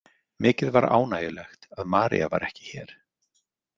Mikið var ánægjulegt að María var ekki hér.